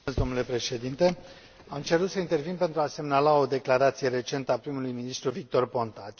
Domnule președinte, am cerut să intervin pentru a semnala o declarație recentă a prim ministrului Victor Ponta.